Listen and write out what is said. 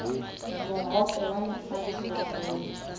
mohope wa lefatshe wa bolo